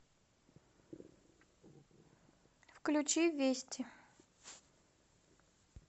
включи вести